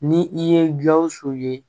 Ni i ye gawusu ye